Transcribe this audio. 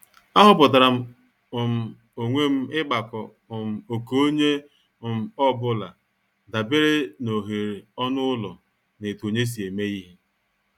Aghoputaram um onwe m igbako um oké onye um ọ bụla dabere n' oghere ọnụ ụlọ na etu onye si eme ihe.